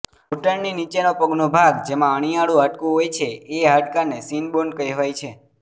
ઘૂંટણની નીચેનો પગનો ભાગ જેમાં અણીયાળુ હાડકું હોય છે એ હાડકાને શીન બોન કેહવાય છે